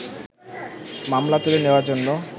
মামলা তুলে নেওয়ার জন্য